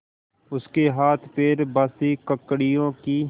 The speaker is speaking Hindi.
उसके हाथपैर बासी ककड़ियों की